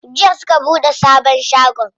Jiya suka buɗe sabon shagon.